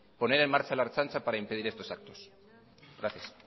poner en marcha la ertzaintza para impedir estos actos gracias